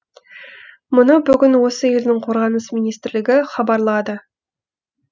мұны бүгін осы елдің қорғаныс министрлігі хабарлады